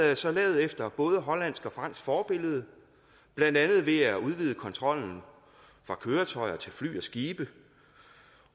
er så lavet efter både hollandsk og fransk forbillede blandt andet ved at udvide kontrollen fra køretøjer til fly og skibe